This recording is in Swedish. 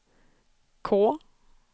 K